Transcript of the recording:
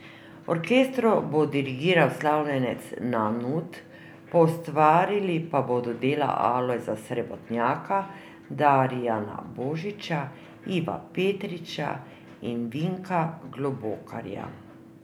Orkestru bo dirigiral slavljenec Nanut, poustvarili pa bodo dela Alojza Srebotnjaka, Darijana Božiča, Iva Petriča in Vinka Globokarja.